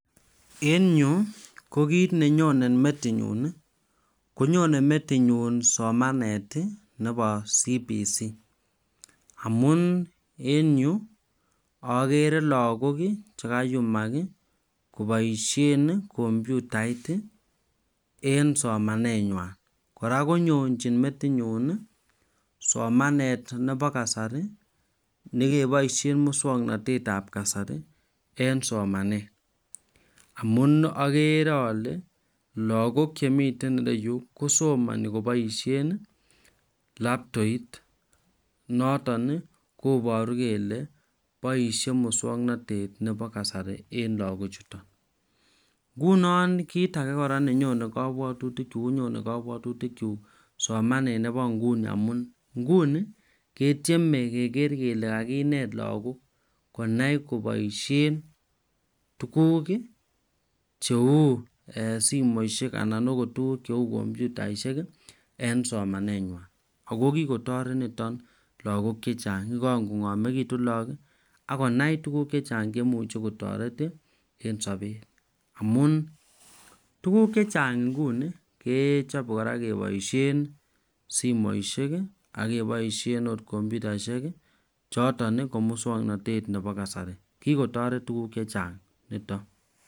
En Yu ko kit nenyonen metinyun konyonen metinyun somanet Nebo cbc amun en Yu agere lagok chekayumak kobaishen kombutait en somanenywan koraa konyorchin metinyun somanet Nebo kasari nekibaishen muswaknatet Nebo kasari en somanet amun agere ale lagok Chemiten ireyu kosomani kobaishen labtoit noton kobaru kele baishet muswaknatet Nebo kasari en lagok chuton ngunon kit age nenyonen metinyun konyonen kabwatutik chuk somanet Nebo inguni amun inguni ketyeme keger Kole kakinet lagok konai kobaishen tuguk cheu simoishek anan okot tuguk cheu computaishek en somanenywan akokikotaret niton lagok chechangkongamekitun lagok akonai tuguk chechang cheimuche kotaret en sabenyun amun tuguk chechang inguni kechaben kora kebaishen simoishek kakebaishen computaishek choton ko muswaknatet Nebo kasari kikotaret tuguk chechang niton